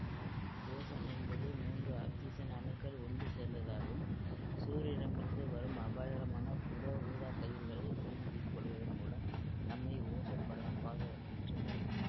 ozone என்பது மூன்று oxygen அணுக்கள் ஒன்று சேர்ந்ததாகும் சூரியனிலிருந்து வரும் அபாயகரமான புற ஊதாக்கதிர்களை உறிஞ்சிக் கொள்வதன் மூலம் நம்மை ஓசோன் படலம் பாதுகாக்கின்றது